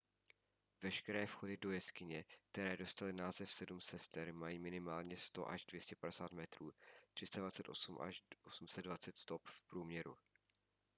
veškeré vchody do jeskyně které dostaly název sedm sester mají minimálně100 až 250 metrů 328 až 820 stop v průměru